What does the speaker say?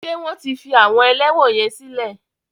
Ṣé wọ́n ti fi àwọn ẹlẹ́wọ̀n yẹn sílè?